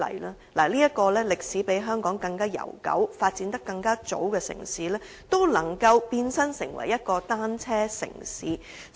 倫敦是一個歷史比香港悠久、發展更早的城市，亦能變身成為單車友善城市。